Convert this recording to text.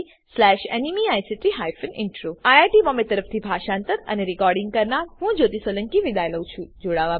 IIT Bombay તરફથી હું જ્યોતી સોલંકી વિદાય લઉં છું